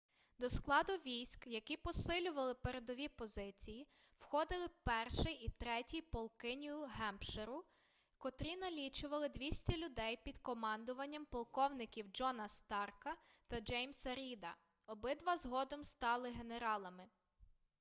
до складу військ які посилювали передові позиції входили 1-й і 3-й полки нью-гемпширу котрі налічували 200 людей під командуванням полковників джона старка та джеймса ріда обидва згодом стали генералами